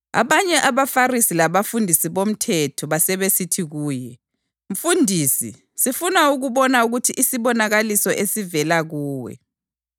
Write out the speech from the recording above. Abanye abaFarisi labafundisi bomthetho basebesithi kuye, “Mfundisi, sifuna ukubona isibonakaliso esivela kuwe.”